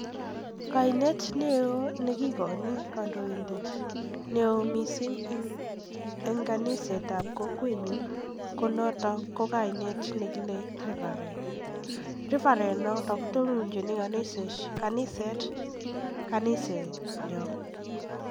Kainet neo nekikoini kandoindet neo missing en kaniset ab kokwenyun kekuren Reverend netononchin kanisenyon.